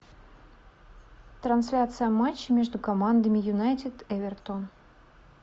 трансляция матча между командами юнайтед эвертон